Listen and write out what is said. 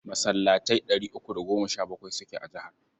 Masallatai ɗari uku da goma sha bakwai suke a jihar.